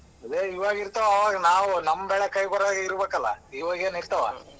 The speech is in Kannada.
ಅದೇ ಇವಾಗ್ ಇರ್ತಾವ ಆವಾಗ ನಾವ್ ನಮ್ ಬೆಳೆ ಕೈಗ್ ಬರುವಾಗ ಇರಬೇಕಲ್ಲ ಇವಾಗ ಏನ್ ಇರ್ತವ?